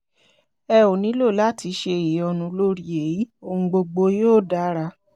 ẹ ò nílò láti ṣe ìyọnu lórí èyí ọhun gbogbo yóò dára